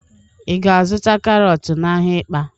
Ị ga-azụta karọt n'ahịa Ịkpa?